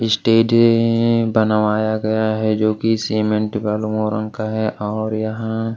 stage बनवाया गया है जो कि सीमेंट का है और यहां--